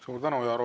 Suur tänu!